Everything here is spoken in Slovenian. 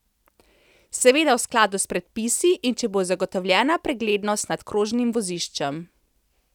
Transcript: Seveda v skladu s predpisi in če bo zagotovljena preglednost nad krožnim voziščem.